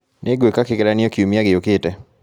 Nĩngwĩka kĩgeranio kiumia gĩũkĩte.